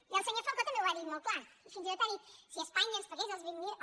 i el senyor falcó també ho ha dit molt clar i fins i tot ha dit si espanya ens pagués els vint miler